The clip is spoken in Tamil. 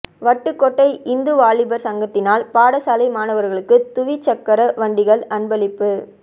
வட்டுக்கோட்டை இந்து வாலிபர் சங்கத்தினால் பாடசாலை மாணவர்களுக்கு துவிச்சக்கர வண்டிகள் அன்பளிப்பு